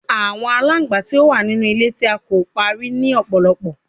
Awọn alangba ti o wa ninu ile ti a ko pari ni ọpọlọpọ